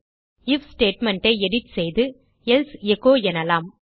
if statement ஐ edit செய்து else echo எனலாம்